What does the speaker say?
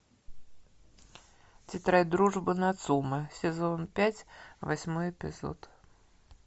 тетрадь дружбы нацумэ сезон пять восьмой эпизод